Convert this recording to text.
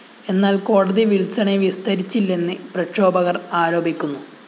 എന്നാല്‍ കോടതി വില്‍സണെ വിസ്തരിച്ചില്ലെന്ന് പ്രക്ഷോഭകര്‍ ആരോപിക്കുന്നു